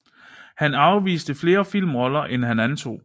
Han afviste flere filmroller end han antog